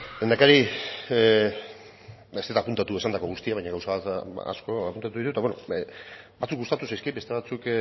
lehendakari ez naiz apuntatu esandako guztia baino gauza asko apuntatu ditut eta batzuk gustatzen zaizkit beste batzuk